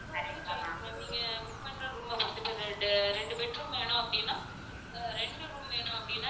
அது உங்க choice ma'am நீங்க book பண்ற room பொறுத்து இப்ப ரெட்~ ரெண்டு bed room வேணும் அப்படினா அஹ் ரெண்டு room வேணும் அப்படினா